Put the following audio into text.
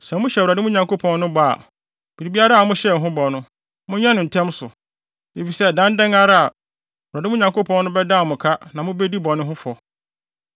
Sɛ mohyɛ Awurade, mo Nyankopɔn no, bɔ a, biribiara a mohyɛɛ no ho bɔ no, monyɛ no ntɛm so. Efisɛ ɛdan dɛn ara a Awurade, mo Nyankopɔn no, bɛdan mo ka na mubedi bɔne ho fɔ.